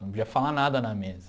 Não podia falar nada na mesa.